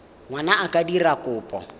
ngwana a ka dira kopo